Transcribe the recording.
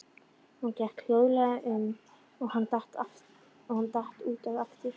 Hún gekk hljóðlega um og hann datt út af aftur.